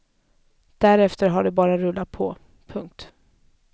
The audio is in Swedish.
Därefter har det bara rullat på. punkt